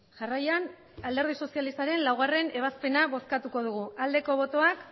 jarraian alderdi sozialistaren laugarrena ebazpena bozkatuko dugu aldeko botoak